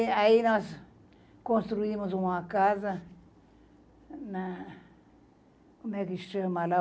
Aí nós construímos uma casa na... como é que chama lá?